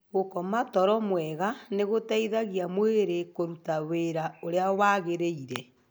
Gũkoma toro mwega nĩ gũteithagia mwĩrĩ kũruta wĩra ũrĩa wagĩrĩire.